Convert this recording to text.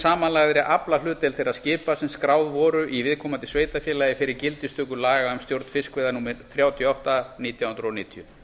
samanlagðri aflahlutdeild þeirra skipa sem skráð voru í viðkomandi sveitarfélagi fyrir gildistöku laga um stjórn fiskveiða númer þrjátíu og átta nítján hundruð níutíu